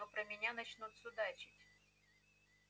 но про меня начнут судачить